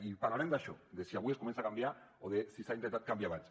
i parlarem d’això de si avui es comença a canviar o de si s’ha intentat canviar abans